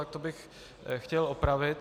Tak to bych chtěl opravit.